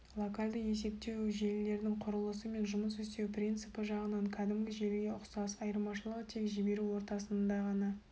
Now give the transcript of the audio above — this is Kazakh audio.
локальды есептеу желілерінің құрылысы мен жұмыс істеу принципі жағынан кәдімгі желіге ұқсас айырмашылығы тек жіберу ортасында ғана